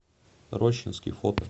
рощинский фото